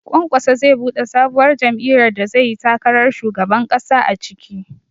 Kwankwaso zai buɗe sabuwar jam'iyyar da zai yi takarar shugaban ƙasa a ciki